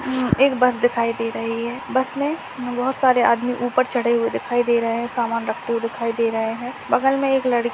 एक बस दिखाई दे रही है बस मे बहुत सारे आदमी ऊपर चडे हुए दिखाई दे रहे सामान रखते हुए दिखाई दे रहे है बगल में एक लड़की --